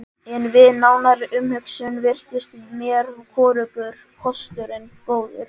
En við nánari umhugsun virtust mér hvorugur kosturinn góður.